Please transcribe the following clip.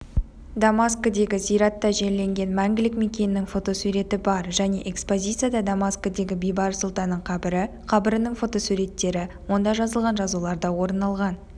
дамаскідегі зиратта жерленген мәңгілік мекенінің фотосуреті бар және экспозицияда дамаскідегі бейбарыс сұлтанның қабірі қабірінің фотосуреттері онда жазылған жазулар да орын алған